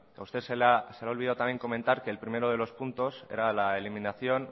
ha usted se le ha olvidado también comentar que el primero de los puntos era la eliminación